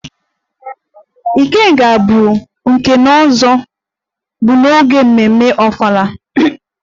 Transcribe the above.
ikenga' bụ nke nze-na-ozo bu n'oge mmemme ofala